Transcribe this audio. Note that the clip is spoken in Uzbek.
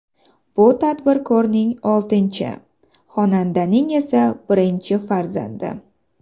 Bu tadbirkorning oltinchi, xonandaning esa birinchi farzandi.